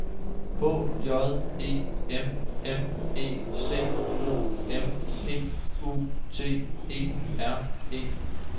H J E M M E C O M P U T E R E